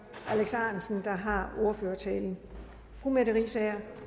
alex ahrendtsen der har ordførertalen fru merete riisager